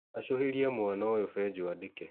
acũhĩria mwana ũyũ benjo andĩke.